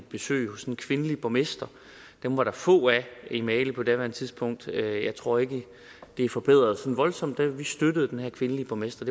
besøg hos en kvindelig borgmester dem var der få af i mali på daværende tidspunkt og jeg tror ikke det er forbedret sådan voldsomt og vi støttede den her kvindelige borgmester